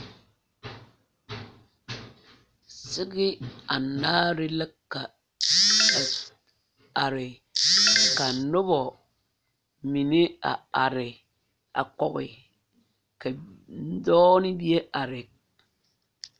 Sege anaare la ka ka are ka nobɔ mine a are kɔge ka dɔɔ ne bie are.